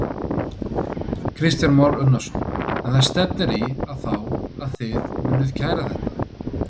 Kristján Már Unnarsson: En stefnir í að þá að þið munið kæra þetta?